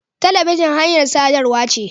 Talabijin hanyar sadarwa ce.